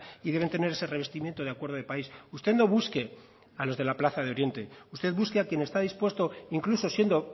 y deben tener ese revestimiento de acuerdo de país usted no busque a los de la plaza de oriente usted busque a quien está dispuesto incluso siendo